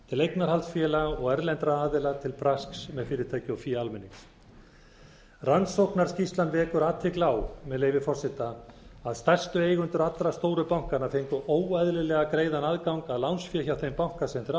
til eignarhaldsaðila og erlendra aðila til brasks með fyrirtæki og fé almennings rannsóknarskýrslan vekur athygli á með leyfi forseta að stærstu eigendur allra stóru bankanna fengu óeðlilega greiðan aðgang að lánsfé hjá þeim banka sem þeir